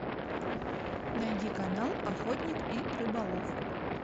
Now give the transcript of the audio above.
найди канал охотник и рыболов